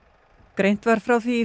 greint var frá því í